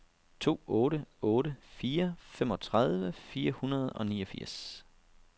to otte otte fire femogtredive fire hundrede og niogfirs